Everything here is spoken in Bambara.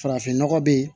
Farafin nɔgɔ be yen